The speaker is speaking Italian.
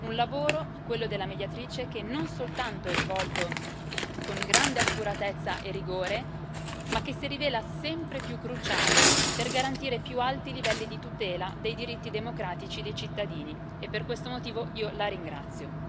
Un lavoro, quello della Mediatrice, che non soltanto è svolto con grande accuratezza e rigore, ma che si rivela sempre più cruciale per garantire i più alti livelli di tutela dei diritti democratici dei cittadini, e per questo motivo io la ringrazio.